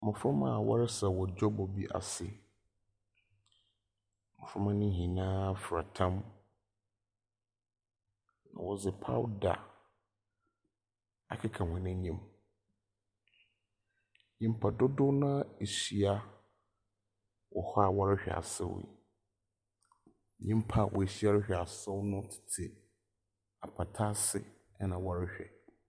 Mboframba a wɔresaw wɔ dwabɔ bi ase. Mboframba no nyinaa fira tam. Na wɔdze powder akeka hɔn enyim. Nyimpa dodow no ara ehyia wɔ hɔ a wɔrehwɛ asaw yi. Nyimpa a woehyia rehwɛ asaw no tse apata ase na wɔrehwɛ.